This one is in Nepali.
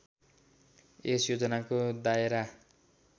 यस योजनाको दायरा